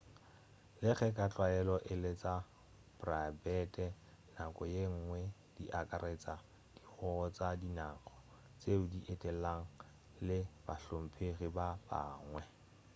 le ge ka tlwaelo e le tša praebete nako ye nngwe di akaretša dihogo tša dinaga tšeo di etelago le bahlomphegi ba bangwe